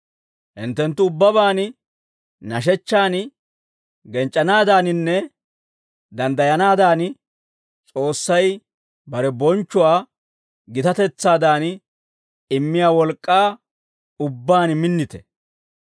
Hinttenttu ubbabaan nashechchan genc'c'anaadaaninne danddayanaadan, S'oossay bare bonchchuwaa gitatetsaadan immiyaa wolk'k'aa ubbaan minnite.